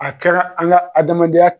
A kɛra an ka adamadenya